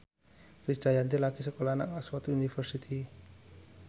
Krisdayanti lagi sekolah nang Oxford university